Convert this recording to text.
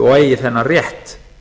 og eigi þennan rétt